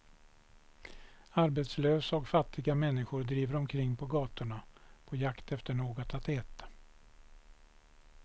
Arbetslösa och fattiga människor driver omkring på gatorna, på jakt efter något att äta.